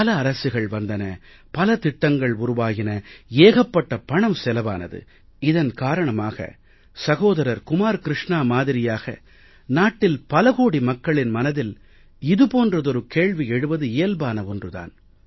பல அரசுகள் வந்தன பல திட்டங்கள் உருவாயின ஏகப்பட்ட பணம் செலவானது இதன் காரணமாக சகோதரர் குமார் க்ருஷ்ணா மாதிரியாக நாட்டில் பல கோடி மக்களின் மனதில் இது போன்றதொரு கேள்வி எழுவது இயல்பான ஒன்று தான்